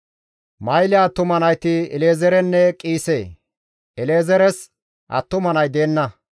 Mahile attuma nayti El7ezeerenne Qiise; El7ezeeres attuma nay deenna.